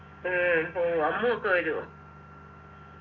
ഏർ ഉം അമ്മുഒക്കെ വരു ഓ